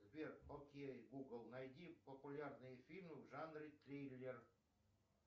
сбер окей гугл найди популярные фильмы в жанре триллер